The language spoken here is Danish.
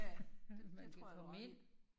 Ja det tror jeg du har ret i